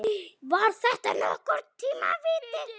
Var þetta nokkurn tíma víti?